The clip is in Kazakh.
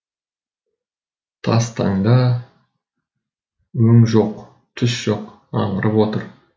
тастанда өң жоқ түс жоқ аңырып отыр